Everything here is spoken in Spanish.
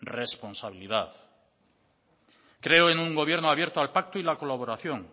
responsabilidad creo en un gobierno abierto al pacto y la colaboración